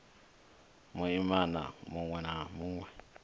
muimana munwe na munwe a